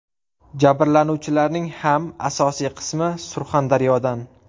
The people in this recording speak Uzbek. Jabrlanuvchilarning ham asosiy qismi Surxondaryodan.